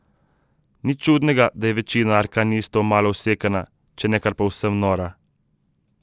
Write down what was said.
Nič čudnega, da je večina arkanistov malo usekana, če ne kar povsem nora.